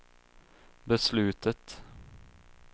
beslutet